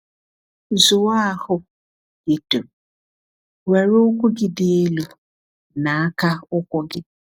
Zụọ ahụ gị dum, were ụkwụ gị dị elu n’aka ụkwụ gị.